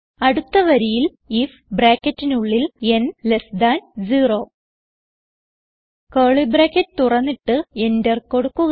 അടുത്ത വരിയിൽ ഐഎഫ് ന് 0 കർലി ബ്രാക്കറ്റ് തുറന്നിട്ട് എന്റർ കൊടുക്കുക